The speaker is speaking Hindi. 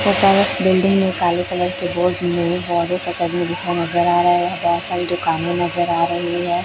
यहाँ पर बिल्डिंग में काले कलर के बोर्ड में लिखा हुआ नजर आ रहा है दुकाने नजर आ रही है।